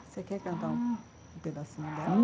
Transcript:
Você quer cantar um pedacinho dela?